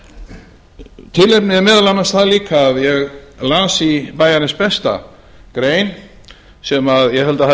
peninga tilefnið er meðal annars það líka að ég las í bæjarins besta grein sem ég held að hafi